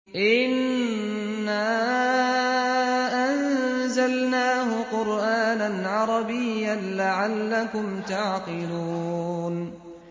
إِنَّا أَنزَلْنَاهُ قُرْآنًا عَرَبِيًّا لَّعَلَّكُمْ تَعْقِلُونَ